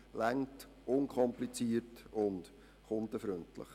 Das ist unkompliziert und kundenfreundlich.